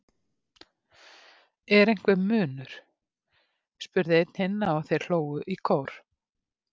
Er einhver munur? spurði einn hinna og þeir hlógu í kór.